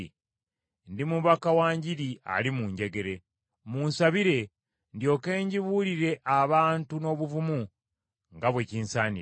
Ndi mubaka wa Njiri ali mu njegere. Munsabire ndyoke ngibuulire abantu n’obuvumu nga bwe kinsaanira.